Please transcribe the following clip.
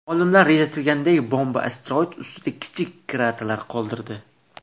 Olimlar rejalashtirganidek, bomba asteroid ustida kichik krater qoldirdi.